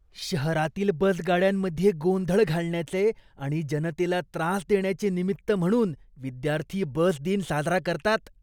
शहरातील बसगाड्यांमध्ये गोंधळ घालण्याचे आणि जनतेला त्रास देण्याचे निमित्त म्हणून विद्यार्थी बस दिन साजरा करतात.